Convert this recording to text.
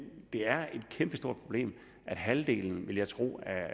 det er et kæmpestort problem at halvdelen vil jeg tro